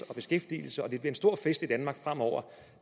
og beskæftigelse og der en stor fest i danmark fremover